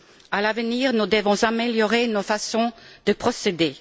À l'avenir, nous devons améliorer nos façons de procéder.